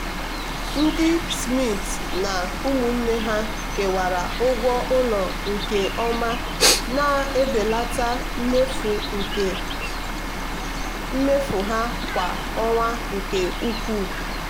ndị smiths na ụmụnne ha kewara ụgwọ ụlọ nke ọma na-ebelata mmefu ha kwa ọnwa nke ukwuu.